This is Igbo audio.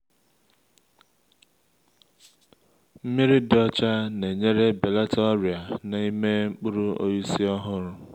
nmiri dị ọcha na-enyere belata ọrịa na-ime mkpụrụ osisi ọhụrụ